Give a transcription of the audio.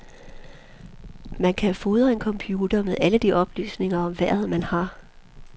Man kan fodre en computer med alle de oplysninger om vejret, man har.